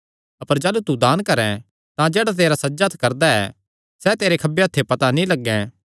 अपर जाह़लू तू दान करैं तां जेह्ड़ा तेरा सज्जा हत्थ करदा ऐ सैह़ तेरे खब्बे हत्थेयो पता नीं लग्गैं